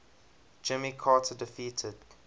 jimmy carter defeated